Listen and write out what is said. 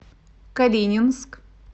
калининск